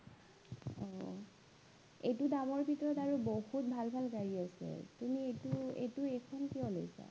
আহ এইটো দামৰ ভিতৰত আৰু বহুত ভাল ভাল গাড়ী আছে, তুমি এইটো এইটো এইখন কিয় লৈছা?